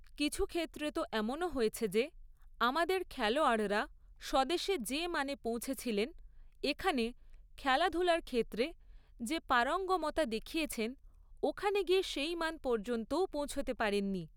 কিছু ক্ষেত্রে তো এমনও হয়েছে যে আমাদের খেলোয়াড়রা স্বদেশে যে মানে পৌঁছেছিলেন, এখানে খেলাধুলোর ক্ষেত্রে যে পারঙ্গমতা দেখিয়েছেন, ওখানে গিয়ে সেই মান পর্যন্তও পৌঁছতে পারেন নি।